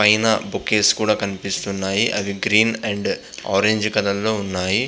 ఆయన బొకేస్ కూడా కనిపిస్తున్నాయి అవి గ్రీన్ అండ్ ఆరెంజ్ కలర్ లో ఉన్నాయి.